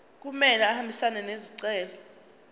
kumele ahambisane nesicelo